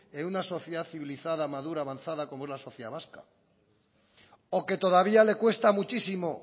en una sociedad civilizada madura avanzada como es la sociedad vasca o que todavía le cuesta muchísimo